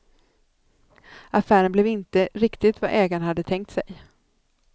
Affären blev inte riktigt vad ägarna hade tänkt sig.